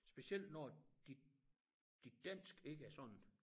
Specielt når dit dit dansk ikke er sådan